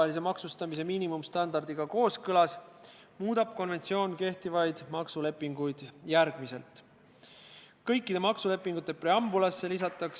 Seda on tehtud häid menetlustavasid rikkudes, tehnilisi valikuid pakkumata, sisulist arutelu pidamata ning sihtgruppi kaasamata.